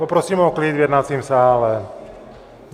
Poprosím o klid v jednacím sále.